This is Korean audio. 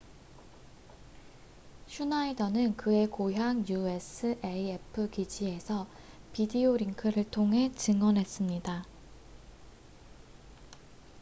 슈나이더는 그의 고향 usaf 기지에서 비디오링크를 통해 증언했습니다